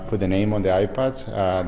hvernig eigi að